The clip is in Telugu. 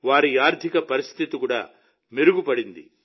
వారి ఆర్థిక పరిస్థితి కూడా మెరుగుపడింది